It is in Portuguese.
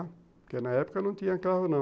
Porque na época não tinha carro, não.